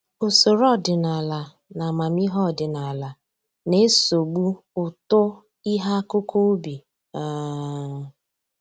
Usoro ọdịnaala na amamihe ọdịnaala na-esogbu uto ihe akụkụ ubi um